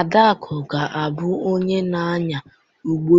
Adaku ga-abụ onye na-anya ụgbọ